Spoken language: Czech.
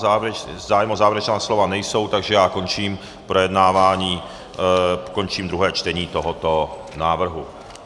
Zájem o závěrečná slova není, takže já končím projednávání, končím druhé čtení tohoto návrhu.